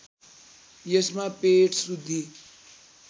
यसमा पेट शुद्धि